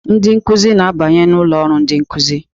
Ndị nkuzi na-abanye n'ụlọ ọrụ ndị nkụzi.